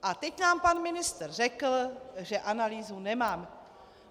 A teď nám pan ministr řekl, že analýzu nemá.